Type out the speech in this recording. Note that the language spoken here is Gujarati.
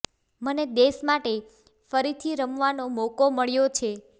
મને દેશ માટે ફરીથી રમવાનો મોકો મળ્યો છે